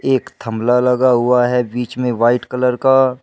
एक थमला लगा हुआ है बीच में वाइट कलर का।